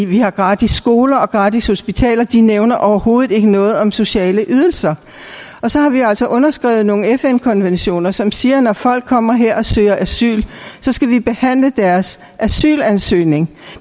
vi har gratis skoler og gratis hospitaler de nævner overhovedet ikke noget om sociale ydelser så har vi jo altså underskrevet nogle fn konventioner som siger at når folk kommer her og søger asyl skal vi behandle deres asylansøgning